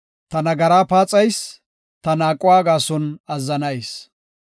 Ta nagara paaxayis; ta naaquwa gaason azzanayis.